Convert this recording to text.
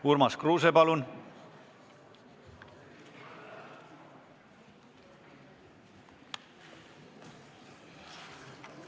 Urmas Kruuse, palun!